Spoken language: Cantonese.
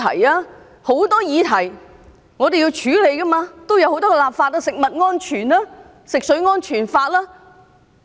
有很多議題我們都需要處理和立法，包括食物安全和食水安全法等。